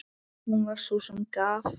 Hún var sú sem gaf.